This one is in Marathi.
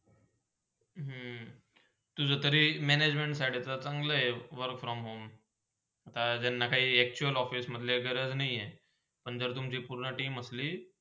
हम्म म तुझा तरी Management फाडीचा चांगला आहे work from home त्यांनाकाही actual ऑफिसमध्ले गरज नाय ही आणि जर तुमची पूर्ण team असली